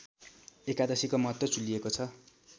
एकादशीको महत्त्व चुलिएको छ